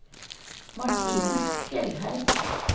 Martine Fjellheim